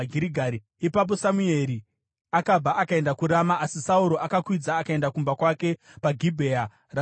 Ipapo Samueri akabva akaenda kuRama, asi Sauro akakwidza akaenda kumba kwake paGibhea raSauro.